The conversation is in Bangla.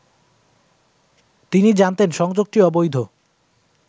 তিনি জানতেন সংযোগটি অবৈধ